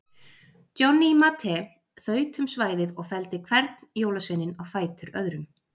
Johnny Mate þaut um svæðið og felldi hvern jólaveininn á fætur öðrum.